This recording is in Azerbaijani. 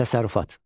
Təsərrüfat.